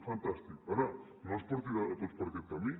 fantàstic ara no ens portin a tots per aquest camí